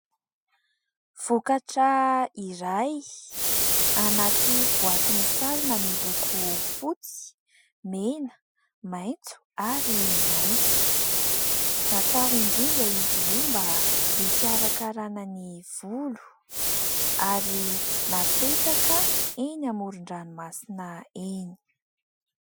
Vokatra iray anaty boaty misarona miloko fotsy, mena, maitso ary mainty. Natao indrindra izy io mba hikarakarana ny volo ary napetraka eny amoron-dranomasina eny.